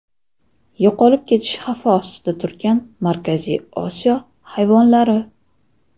Yo‘qolib ketish xavfi ostida turgan Markaziy Osiyo hayvonlari .